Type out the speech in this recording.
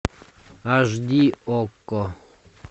аш ди окко